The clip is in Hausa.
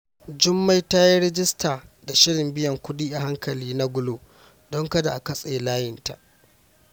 Jummai ta yi rajista da shirin biyan kudi a hankali na Glo don kada a katse layinta.